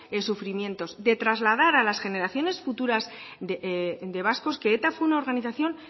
sufrimientos de trasladas a las generaciones futuras de vascos que eta fue una organización